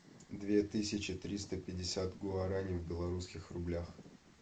две тысячи триста пятьдесят гуарани в белорусских рублях